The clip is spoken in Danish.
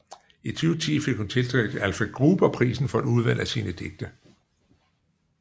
I 2010 fik hun tildelt Alfred Gruber Prisen for et udvalg af sine digte